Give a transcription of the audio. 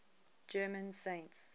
german saints